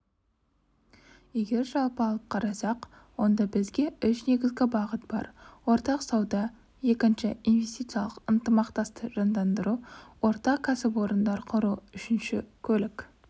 егер жалпы алып қарасақ онда бізе үш негізгі бағыт бар ортақ сауда екінші инвестициялық ықтымақтастықты жандандыру ортақ кәсіплороындар құру үшінші көлік